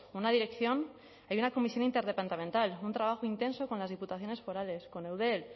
una dirección hay una comisión interdepartamental un trabajo intenso con las diputaciones forales con eudel